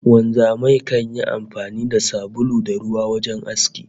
Wanzamai kan yi amfani da sabulu da ruwa wajen aski